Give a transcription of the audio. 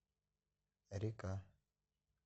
река